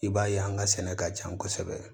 I b'a ye an ka sɛnɛ ka jan kosɛbɛ